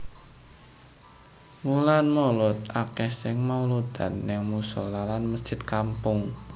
Wulan mulud akeh sing mauludan ning musola lan mesjid kampung